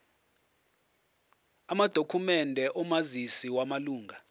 amadokhumende omazisi wamalunga